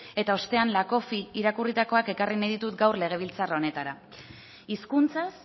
eta ostean lakoffi irakurritakoak ekarri nahi ditut gaur legebiltzar honetara hizkuntzaz